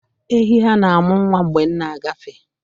Ehi ha na-amụ nwa mgbe m na-agafe.